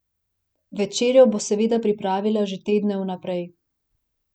Večerjo bo seveda pripravila že tedne vnaprej.